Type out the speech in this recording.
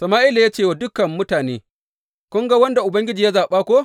Sama’ila ya ce wa dukan mutane, Kun ga wanda Ubangiji ya zaɓa ko?